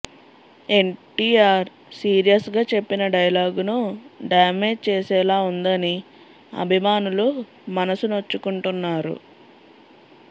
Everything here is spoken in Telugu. ఎన్టీఆర్ సీరియస్ గా చెప్పిన డైలాగును డామేజ్ చేసేలా ఉందని అభిమానులు మనసు నొచ్చుకుంటున్నారు